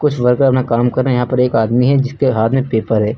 कुछ वर्कर अपना काम कर रहे हैं यहां पर एक आदमी है जिसके हाथ में पेपर है।